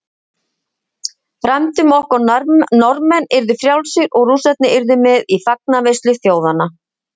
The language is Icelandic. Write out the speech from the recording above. Frændur okkar Norðmenn yrðu frjálsir og Rússarnir yrðu með í fagnaðarveislu þjóðanna.